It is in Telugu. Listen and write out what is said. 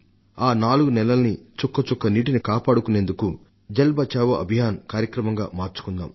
ఆ నాలుగు నెలల్నీ చుక్కచుక్క నీటిని కాపాడుకునేందుకు జల్ బచావో అభియాన్ గా మార్చుకుందాం